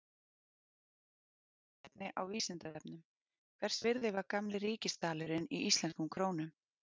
Frekara lesefni á Vísindavefnum: Hvers virði var gamli ríkisdalurinn í íslenskum krónum?